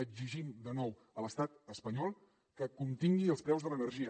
exigim de nou a l’estat espanyol que contingui els preus de l’energia